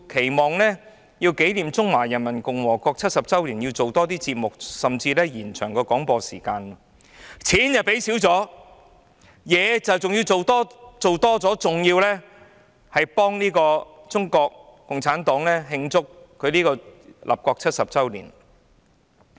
原來她要紀念中華人民共和國成立70周年，期望港台製作多些節目，甚至延長廣播時間，經費減少了，工作卻要增加，還要為中國共產黨慶祝立國70周年。